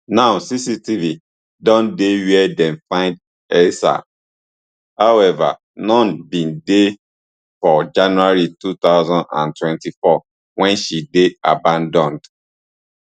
now cctv don dey wia dem find elsa however none bin dey for january two thousand and twenty-four wen she dey abanAcceptedd